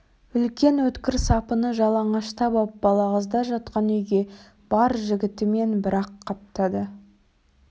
үлкен өткір сапыны жалаңаштап ап балағаздар жатқан үйге бар жігітімен бір-ақ қаптады